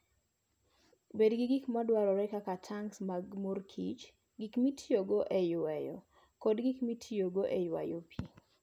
Bed gi gik ma dwarore kaka tanks mag mor kich, gik ma itiyogo e yweyo, kod gik ma itiyogo e ywayo pi.